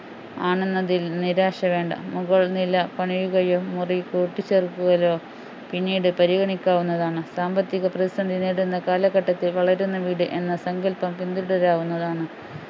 ആണെന്നതിൽ നിരാശ വേണ്ട മുകൾ നില പണിയുകയും മുറി കൂട്ടി ചേർക്കുകയും പിന്നീട് പരിഗണിക്കാവുന്നതാണ് സാമ്പത്തിക പ്രതിസന്ധി നേരിടുന്ന കാലഘട്ടത്തിൽ വളരുന്ന വീട് എന്ന സങ്കല്പം പിൻതുടരാവുന്നതാണ്